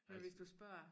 Men hvis du spørger